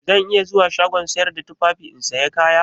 Zan iya zuwa shagon sayar da tufafi in saya kaya?